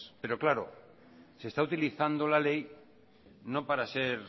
pero claro se está utilizando la ley no para ser